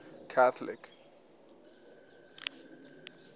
catholic